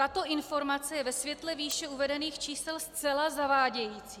Tato informace je ve světle výše uvedených čísel zcela zavádějící.